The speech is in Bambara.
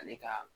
Ani ka